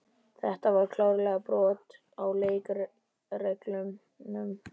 Þetta var klárlega brot á leikreglunum.